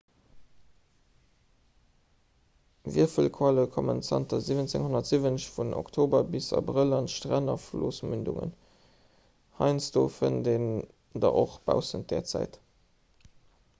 wierfelqualle kommen zanter 1770 vun oktober bis abrëll un d'stränn a flossmündungen heiansdo fënnt een der och baussent där zäit